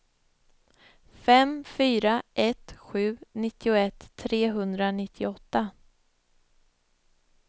fem fyra ett sju nittioett trehundranittioåtta